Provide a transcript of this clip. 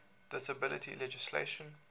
disability legislation